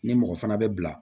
Ni mɔgɔ fana bɛ bila